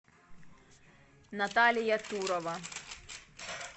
наталья турова